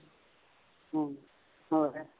ਹਾਂ ਹੋਰ